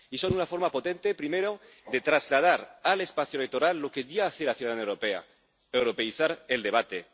Y son una forma potente, primero, de trasladar al espacio electoral lo que ya hace la ciudadanía europea europeizar el debate.